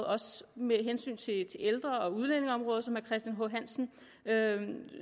også med hensyn til ældre og udlændingeområdet som herre christian h hansen